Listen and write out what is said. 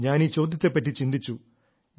ഞാൻ ഈ ചോദ്യത്തെപ്പറ്റി ചിന്തിച്ചു